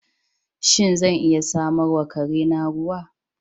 Shin, zan iya samar wa kare na ruwa?